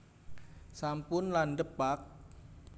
sampun landhep pak